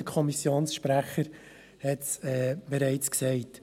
Der Kommissionssprecher hat dies bereits gesagt.